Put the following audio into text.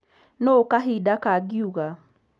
Nũ kahinda kagĩuga .